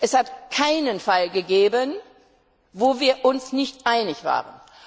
Es hat keinen Fall gegeben, in dem wir uns nicht einig waren.